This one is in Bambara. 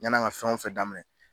Yann'an ka fɛn o fɛn daminɛ.